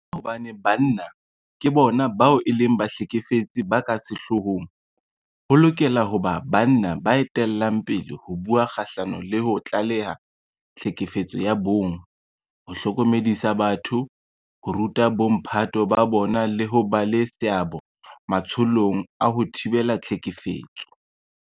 Ka hobane banna ke bona bao e leng bahlekefetsi ba ka sehloohong, ho lokela ho ba banna ba etellang pele ho bua kgahlano le ho tlaleha tlhekefetso ya bong, ho hlokomedisa batho, ho ruta bomphato ba bona le ho ba le seabo matsholong a ho thibela tlhekefetso.